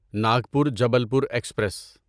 Nagpur Jabalpur express